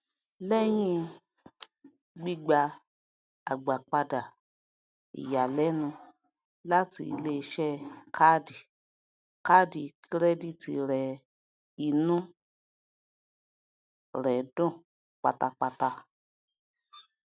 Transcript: lẹyìn um gbígbà agbápadà ìyàlẹnu láti iléiṣẹ kàádì kàádì kìrẹdítì rẹ inú um rẹ dùn pátápátá